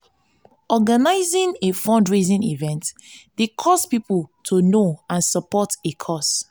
organizing a fundraising event dey cause pipo to know and support a cause.